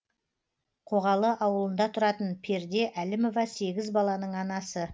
қоғалы ауылында тұратын перде әлімова сегіз баланың анасы